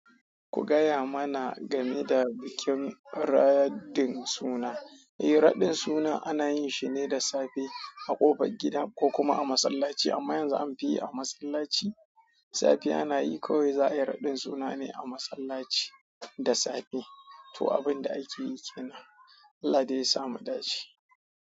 Ku gaya mana game da bikin raɗin suna. Eh, raɗin suna ana yinshi ne da safe a ƙofar gida ko kuma a masallaci amma yanzu an fi yi a masallaci. Safiya nayi kawai za'ayi raɗin suna ne a masallaci da safe. To abin da akeyi kenan. Allah dai yasa mu dace.